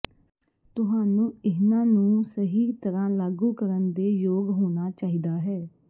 ਤੁਹਾਨੂੰ ਇਹਨਾਂ ਨੂੰ ਸਹੀ ਤਰ੍ਹਾਂ ਲਾਗੂ ਕਰਨ ਦੇ ਯੋਗ ਹੋਣਾ ਚਾਹੀਦਾ ਹੈ